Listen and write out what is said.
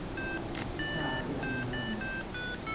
e sa le a nyalwa